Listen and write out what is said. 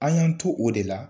An y'an to o de la